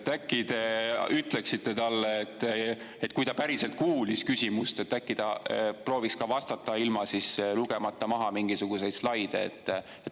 Äkki te ütleksite talle, et kui ta päriselt kuulis küsimust, äkki ta prooviks vastata ilma lugemata maha mingisuguseid slaide.